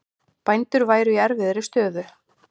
Bændur væru í erfiðri stöðu